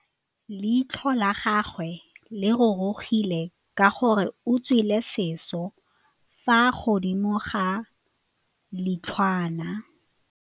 Leitlhô la gagwe le rurugile ka gore o tswile sisô fa godimo ga leitlhwana.